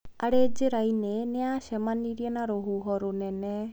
Arĩ njĩra-inĩ, nĩ aacemanirie na rũhuho rũnene.